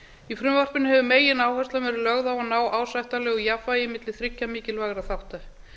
í frumvarpinu hefur megináhersla verið lögð á að ná ásættanlegu jafnvægi milli þriggja mikilvægra þátta